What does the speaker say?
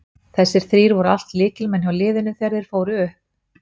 Þessir þrír voru allt lykilmenn hjá liðinu þegar þeir fóru upp.